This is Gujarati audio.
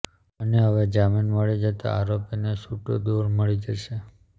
અને હવે જામીન મળી જતા આરોપીને છૂટો દોર મળી જશે